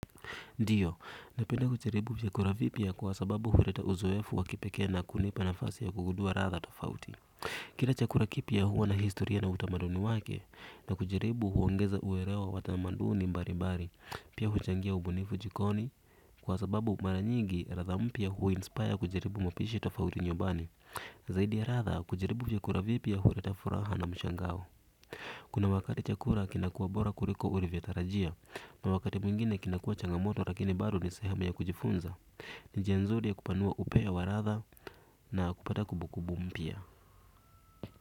Ndio, napenda kujaribu chakupa vipya kwa sababu huleta uzoefu wakipekee na kunipa nafasi ya kugudua ladha tofauti. Kila chakula kipya huwa na historia na utamaduni wake, na kujaribu huongeza uelewa wa tamaduni mbalibali, pia huchangia ubunifu jikoni, kwa sababu mara nyingi ladha mpya hu inspire kujaribu mapishi tofauti nyumbani, zaidi ya ladha kujaribu vyakula vipya huileta furaha na mshangao. Kuna wakati chakula kinakua bora kuliko ulivyotarajia. Na wakati mwingine kinakua changamoto lakini bado ni sehemu ya kujifunza. Njia nzuri ya kupanua upeo wa ladha na kupata kumbu kumbu mpya.